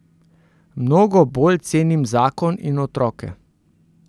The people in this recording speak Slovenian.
Mnogo bolj cenim zakon in otroke.